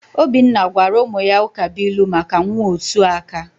Obinna gwara ụmụ ya ụkabuilu maka nwaosuaka.